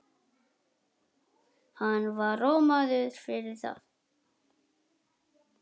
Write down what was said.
Hann var rómaður fyrir það.